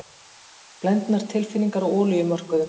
Blendnar tilfinningar á olíumörkuðum